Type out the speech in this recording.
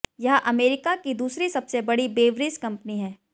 यह अमेरिका की दूसरी सबसे बड़ी ब्रेवरीज कंपनी है